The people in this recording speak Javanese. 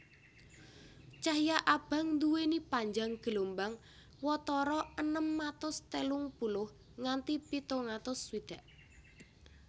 Cahya abang nduwèni panjang gelombang watara enem atus telung puluh nganti pitung atus swidak